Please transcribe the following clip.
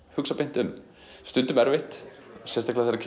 hugsa beint um stundum erfitt sérstaklega þegar